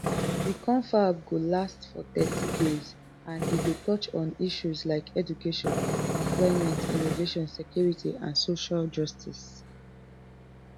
di confab go last for thirty days and e go touch on issues like education employment innovation security and social justice